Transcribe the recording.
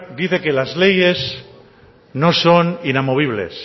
dice que las leyes no son inamovibles